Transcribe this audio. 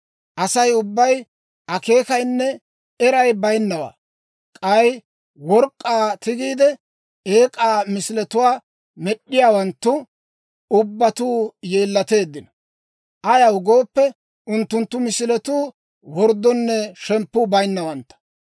Asay ubbay akeekayinne eray bayinnawaa. K'ay work'k'aa tigiide, eek'aa misiletuwaa med'd'iyaawanttu ubbatuu yeellateeddino. Ayaw gooppe, unttunttu misiletuu worddonne shemppuu bayinnawantta.